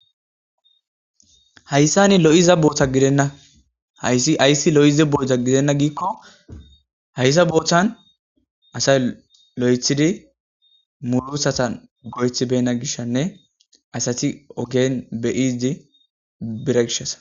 Hayssan lo'iza botta gidenna hayssiaysi lo'iza botta gidenna gikko hayssa bottan asay lo'oeththidii muurutatan go'oetti beyina gishanne asati oogen deyidi bida gishshasa.